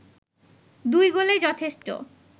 দুই গোলেই যথেষ্ট